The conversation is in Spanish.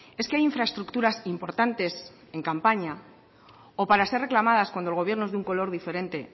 es que hay infraestructuras importantes en campaña o para ser reclamadas cuando gobiernos de un color diferente